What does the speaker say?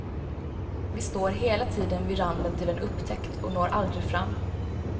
Vi står hela tiden vid randen till en upptäckt och når aldrig fram.